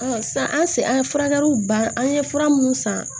sisan an se an ye furakɛliw ban an ye fura minnu san